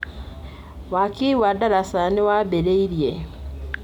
Waki wa ndaraca nĩ wambĩrĩirie.